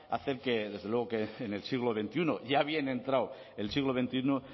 hacen que en el siglo veintiuno ya bien entrado el siglo veintiuno